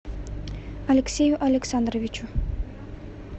алексею александровичу